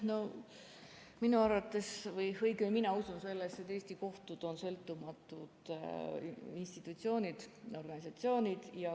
No minu arvates või õigemini mina usun sellesse, et Eesti kohtud on sõltumatud institutsioonid, organisatsioonid.